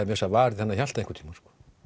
varið þennan Hjalta einhvern tímann